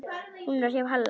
Var hún hjá Halla?